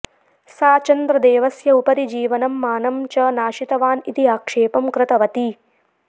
सा चन्द्रदेवस्य उपरि जीवनं मानं च नाशितवान् इति आक्षेपं कृतवती